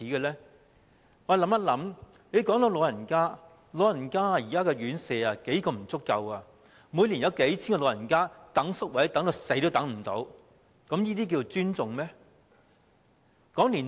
說到老人家，現時老人院舍宿位嚴重不足，每年有數千名長者輪候宿位直至離世也輪候不到，這樣是尊重他們嗎？